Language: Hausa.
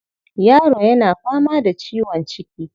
Yaro yana fama da ciwon ciki.